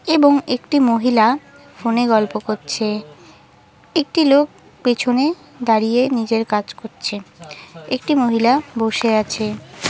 এবং একটি মহিলা ফোনে গল্প করছে। একটি লোক পেছনে দাঁড়িয়ে নিজের কাজ করছে। একটি মহিলা বসে আছে।